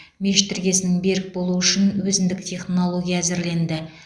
мешіт іргесінің берік болуы үшін өзіндік технология әзірленді